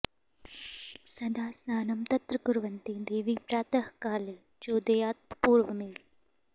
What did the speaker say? सदा स्नानं तत्र कुर्वन्ति देवि प्रातः काले चोदयात्पूर्वमेव